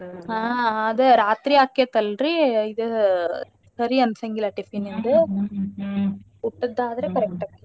ಹಾ ಅದ ರಾತ್ರಿ ಆಕೆತ್ತಲ್ರಿ ಇದ್ ಸರಿ ಅನ್ಸಂಗಿಲ್ಲಾ tiffin ದ್ ಊಟದ್ದಾದ್ರ correct ಅಕೈತಿ.